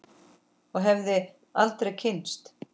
Og hefði aldrei kynnst